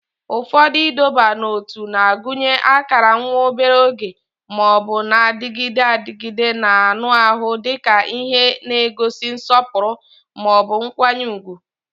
Ụfọdụ ịdọba n'ótú na-agụnye akara nwa obere oge ma ọ bụ na-adịgide adịgide n'anụ ahụ dị ka ihe n'egosi nsọpụrụ ma ọ bụ nkwanye ùgwù